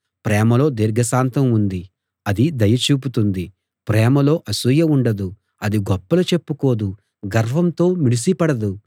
ప్రేమలో దీర్ఘశాంతం ఉంది అది దయ చూపుతుంది ప్రేమలో అసూయ ఉండదు అది గొప్పలు చెప్పుకోదు గర్వంతో మిడిసిపడదు